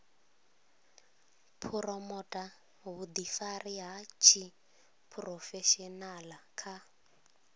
phuromotha vhuḓifari ha tshiphurofeshenaḽa kha